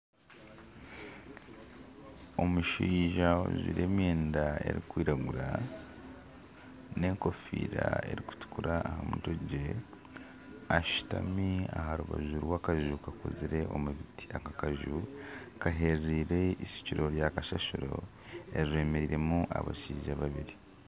Omushaija ajwaire emyenda erikwiragura nana enkofiira erikwiragura ashutami aha rubaju rwakaju kakuzire omu biti aka akaju, kaherereire eishukiro rya kasasiro eryemeiremu abashaija babiri.